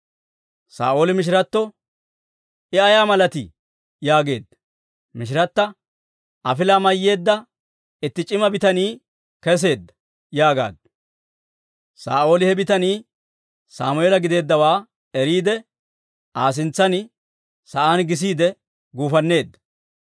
Saa'ooli mishiratto, «I ay malatii?» yaageedda. Mishirata, «Afilaa mayyeedda itti c'ima bitanii keseedda» yaagaaddu. Saa'ooli he bitanii Sammeela giddeeddawaa eriide, Aa sintsan sa'aan gisiide gufanneedda.